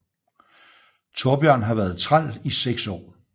Thorbjørn har været træl i 6 år